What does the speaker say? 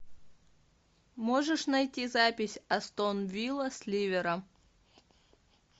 можешь найти запись астон вилла с ливером